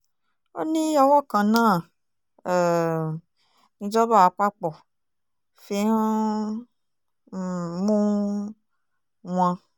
ó ní ọwọ́ kan náà um ni ìjọba àpapọ̀ fi ń um mú wọn